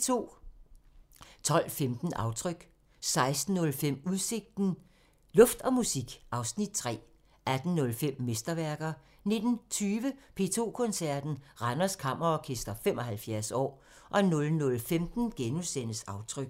12:15: Aftryk 16:05: Udsigten – Luft og musik (Afs. 3) 18:05: Mesterværker 19:20: P2 Koncerten – Randers Kammerorkester 75 år 00:15: Aftryk *